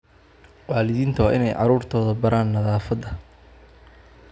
Waalidiintu waa inay carruurtooda baraan nadaafadda